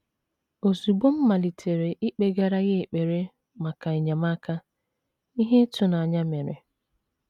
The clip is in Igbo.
Ozugbo m malitere ikpegara Ya ekpere maka enyemaka, ihe ịtụnanya mere.